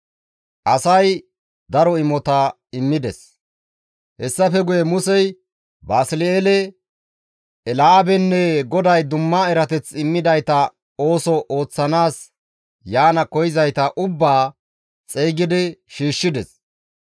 Hessafe guye Musey Basli7eele, Eelaabenne GODAY dumma erateth immidayta ooso ooththanaas yaana koyzayta ubbaa xeygidi shiishshides.